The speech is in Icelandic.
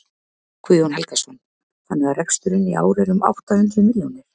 Guðjón Helgason: Þannig að reksturinn í ár er um átta hundruð milljónir?